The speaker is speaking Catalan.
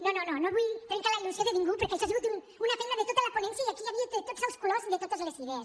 no no no no vull trencar la il·lusió de ningú perquè això ha sigut una feina de tota la ponència i aquí n’hi havia de tots els colors i de totes les idees